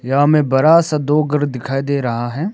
यहां में बड़ा सा दो घर दिखाई दे रहा है।